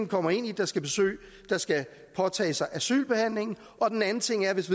kommer ind i der skal påtage sig asylbehandlingen og den anden ting er at hvis